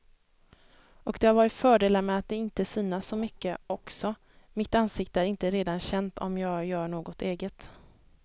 Och det har varit fördelar med att inte synas så mycket också, mitt ansikte är inte redan känt om jag gör något eget.